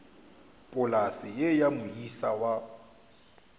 polase ye ya moisa wa